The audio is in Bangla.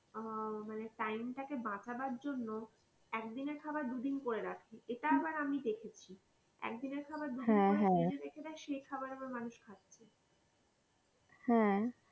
আহ মানে time তাকে বাঁচনোর জন্যে একদিনের খাবার দুদিন করে রাখে এইটা আবার আমি দেখেছি একদিনের খাবার দুদিনে ফ্রিজ এ রেখে দেয় সেই খাবার আবার মানুষ খাচ্ছে